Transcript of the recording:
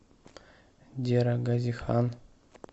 дера гази хан